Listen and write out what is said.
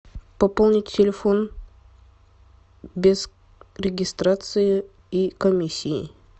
пополнить телефон без регистрации и комиссии